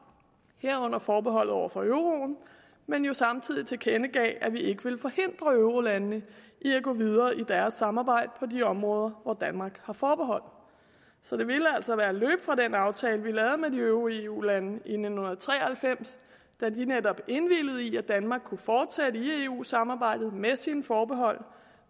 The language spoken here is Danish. herunder forbeholdet over for euroen men jo samtidig tilkendegav at vi ikke ville forhindre eurolandene i at gå videre i deres samarbejde på de områder hvor danmark har forbehold så det ville altså være at løbe fra den aftale vi lavede med de øvrige eu lande i nitten tre og halvfems da de netop indvilgede i at danmark kunne fortsætte i eu samarbejdet med sine forbehold